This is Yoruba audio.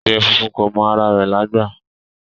Adìẹ funfun kò mọ ara rẹ̀lágbà